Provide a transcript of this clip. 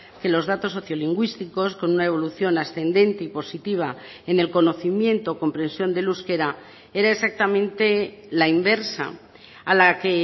que los datos socio lingüísticos con una evolución ascendente y positiva en el conocimiento comprensión del euskera era exactamente la inversa a la que